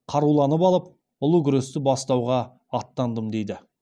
қаруланып алып ұлы күресті бастауға аттандым дейді